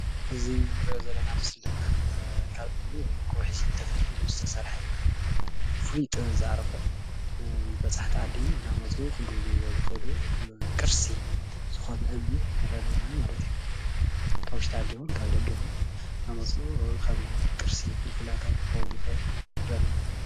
ሕዚ እንሪኦ ዘለና ምስሊ ድማ ካብ እምኒ ወይ ከዓ ካብ ከውሒ ተፈልፊሉ ዝተሰርሐ ፍሉይ ጥበብ ዝዓረፎ በፃሕቲ ዓዲ እናመፁ ክግብንይዎ ዝክእሉ ቅርሲ ዝኮነ እምኒ ንርኢ ኣለና ማለት እዩ፡፡ ካብ ውሽጢ ዓዲ ይኩን ካብ ደገ ዓዲ ይኩን እናመፁ ከም ቅርሲ ፍልፍል ኣታዊ ክኮን ዝክእል ንሪኢ ኣለና ፡፡